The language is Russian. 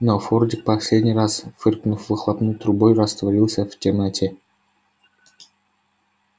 но фордик последний раз фыркнув выхлопной трубой растворился в темноте